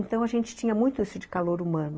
Então, a gente tinha muito isso de calor humano.